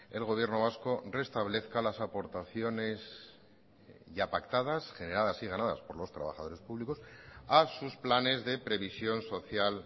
el gobierno vasco restablezca las aportaciones ya pactadas generadas y ganadas por los trabajadores públicos a sus planes de previsión social